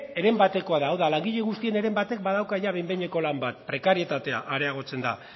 heren batekoa da hau da langile guztien heren batek badauka ia behin behineko lan bat prekarietatea areagotzen da